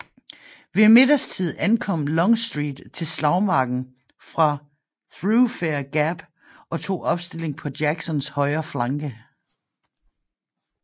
Ved middagstid ankom Longstreet til slagmarken fra Thoroughfare Gap og tog opstilling på Jacksons højre flanke